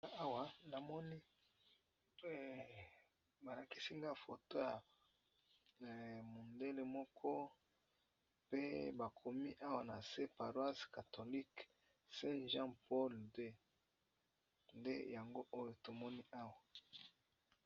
Awa namoni balakisi nga foto ya mondele moko pe bakomi awa na se paroise catholique saint-jean paul deux yango oyo tomoni awa.